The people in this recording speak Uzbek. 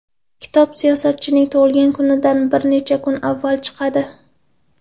Kitob siyosatchining tug‘ilgan kunidan bir necha kun avval chiqadi.